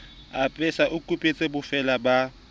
apesa ho kupetswe bofeela ba